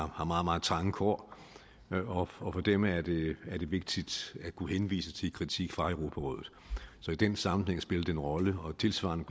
har meget meget trange kår for dem er det vigtigt at kunne henvise til kritik fra europarådet så i den sammenhæng spiller det en rolle og tilsvarende